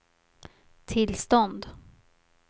tillstånd